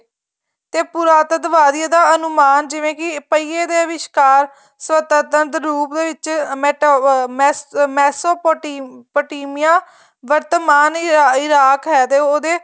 ਤੇ ਪੁਰਾਤਤਵਾਦੀ ਦਾ ਅਨੁਮਾਨ ਜਿਵੇਂ ਕੀ ਪਹੀਏ ਦੇ ਵਿਸਕਾਰ ਸੁਤੰਤਰ ਰੂਪ ਦੇ ਵਿੱਚ ਮੈਸੋਪੋਟੀਮੀਆਂ ਵਰਤਮਾਨ ਈਰਾਕ ਹੈ ਤੇ ਉਹਦੇ